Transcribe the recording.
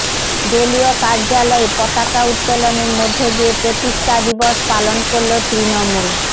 দলীয় কার্যালয়ে পতাকা উত্তোলনের মধ্য দিয়ে প্রতিষ্ঠা দিবস পালন করল তৃণমূল